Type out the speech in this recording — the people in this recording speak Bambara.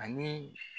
Ani